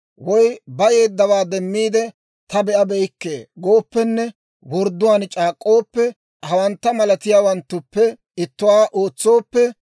woy bayeeddawaa demmiide ta be'abeykke gooppenne wordduwaan c'aak'k'ooppe, hawantta malatiyaawanttuppe ittuwaa ootsooppe,